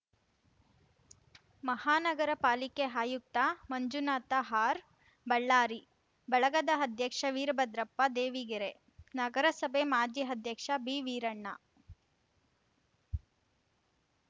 ಮಹಾನಗರ ಪಾಲಿಕೆ ಆಯುಕ್ತ ಮಂಜುನಾಥ ಆರ್‌ಬಳ್ಳಾರಿ ಬಳಗದ ಅಧ್ಯಕ್ಷ ವೀರಭದ್ರಪ್ಪ ದೇವಿಗೆರೆ ನಗರಸಭೆ ಮಾಜಿ ಅಧ್ಯಕ್ಷ ಬಿವೀರಣ್ಣ